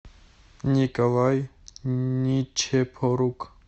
николай ничепорук